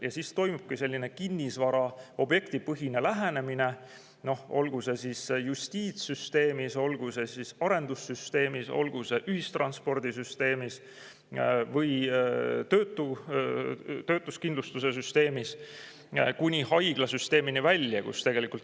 Ja siis toimubki selline kinnisvara-, objektipõhine lähenemine, olgu see siis justiitssüsteemis, arendussüsteemis, ühistranspordisüsteemis või töötuskindlustuse süsteemis, kuni haiglasüsteemini välja.